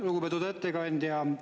Lugupeetud ettekandja!